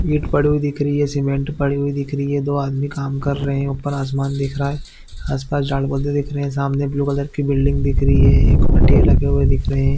It पड़ी हुई दिख रही है सीमेंट पड़ी हुई दिख रही है दो आदमी काम कर रहे है ऊपर आसमान दिख रहा है आस-पास झाड़-पौधे दिख रहे है सामने ब्लू कलर की बिल्डिंग दिख रही है एक खटिया लगे हुए दिख रहे है।